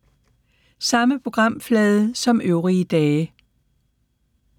Samme programflade som øvrige dage